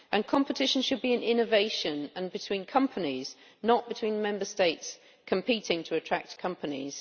Competition should be in innovation and between companies, not between Member States competing to attract companies.